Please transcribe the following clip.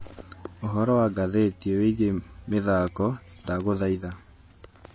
ũhoro wa ngathĩti wigie mithako ndaguthaitha